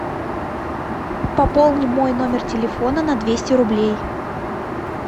пополни мой номер телефона на двести рублей